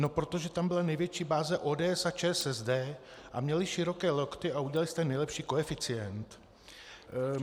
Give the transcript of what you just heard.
No protože tam byla největší báze ODS a ČSSD a měli široké lokty a udělali jste nejlepší koeficient.